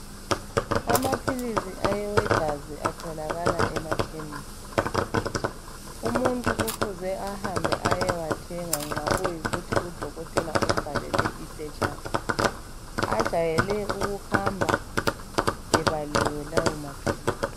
Amaphilisi awegazi atholakala emakhemisi umuntu kufuze ahambe ayewathenga nxa kuyikuthi udokotela umbhalele iphetshana ajayele ukuhamba ebaliwe lawa maphilisi